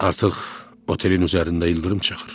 Artıq otelin üzərində ildırım çaxır.